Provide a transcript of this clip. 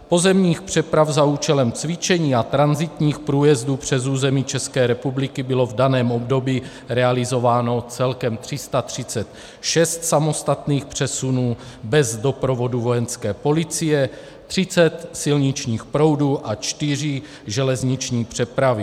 Pozemních přeprav za účelem cvičení a tranzitních průjezdů přes území České republiky bylo v daném období realizováno celkem 336 samostatných přesunů bez doprovodu Vojenské policie, 30 silničních proudů a 4 železniční přepravy.